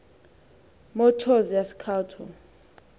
motors yase cato